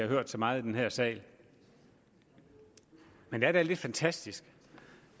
hørt så meget i den her sal men det er da lidt fantastisk